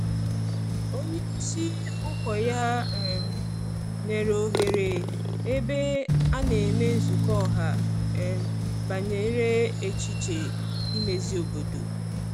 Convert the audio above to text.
Onye isi ụkọ ya um nyere ohere ebe a na emee nzukọ ọha um banyere echiche imezi obodo.